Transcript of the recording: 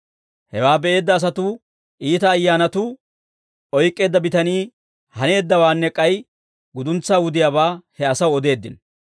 Hewaa be'eedda asatuu iita ayyaanatuu oyk'k'eedda bitanii haneeddawaanne k'ay guduntsaa wudiyaabaa he asaw odeeddino.